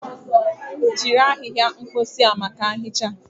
Jiri ahịhịa mposi maka nhicha.